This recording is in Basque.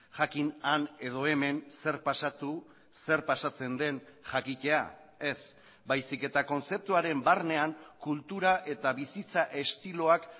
jakin han edo hemen zer pasatu zer pasatzen den jakitea ez baizik eta kontzeptuaren barnean kultura eta bizitza estiloak